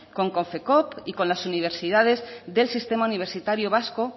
con konfekoop y con las universidades del sistema universitario vasco